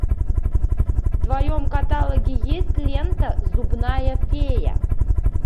в твоем каталоге есть лента зубная фея